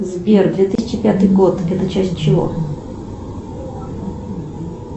сбер две тысячи пятый год это часть чего